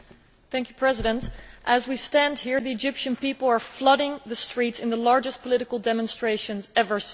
Mr President, as we stand here, the Egyptian people are flooding the streets in the largest political demonstrations ever seen.